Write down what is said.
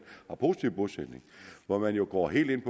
har positiv bosætning og hvor de jo går helt